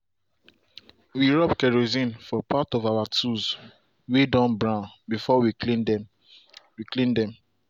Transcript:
we rub kerosine for part of our tools way don brown before we clean them. we clean them.